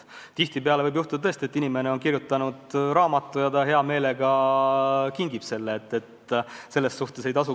Tihtipeale võib olla, et inimene on kirjutanud raamatu ja ta hea meelega kingib selle kellelegi.